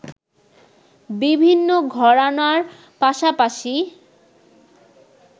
বিভিন্ন ঘরানার পাশাপাশি